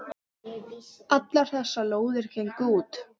Allar þessar lóðir gengu út.